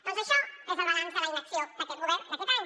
doncs això és el balanç de la inacció d’aquest govern d’aquest any